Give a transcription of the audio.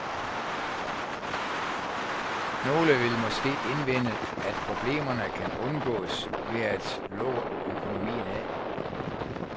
Nogle vil måske indvende, at problemerne kan undgås ved at lukke økonomien af.